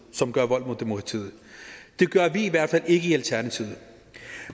som gør vold mod demokratiet det gør vi i hvert fald ikke i alternativet